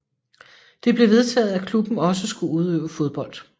Det blev vedtaget at klubben også skulle udøve fodbold